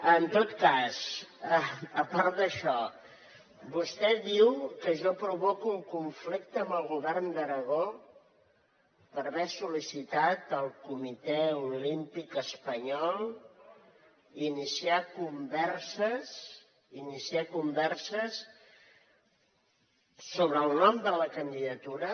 en tot cas a part d’això vostè diu que jo provoco un conflicte amb el govern d’aragó per haver sol·licitat al comitè olímpic espanyol iniciar converses sobre el nom de la candidatura